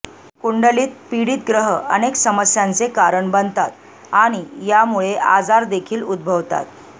कुंडलीत पीडित ग्रह अनेक समस्यांचे कारण बनतात आणि यामुळे आजार देखील उद्भवतात